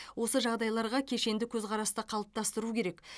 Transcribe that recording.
осы жағдайларға кешенді көзқарасты қалыптастыру керек